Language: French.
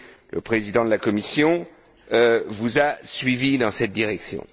Le Président de la Commission vous a suivi dans cette direction.